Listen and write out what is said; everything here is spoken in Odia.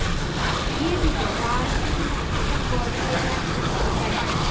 ଇଏ ବି ତ ଗର୍ବ ହେଇଗଲାନି ତାର ଚାକିରୀ ପାଇଁ